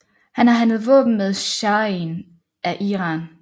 Han har handlet våben med shahen af Iran